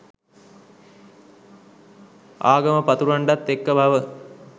ආගම පතුරන්ඩත් එක්ක බව.